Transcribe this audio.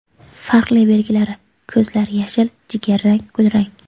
Farqli belgilari: Ko‘zlar – yashil, jigarrang, kulrang.